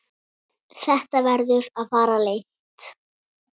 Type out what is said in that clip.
Þetta verður að fara leynt!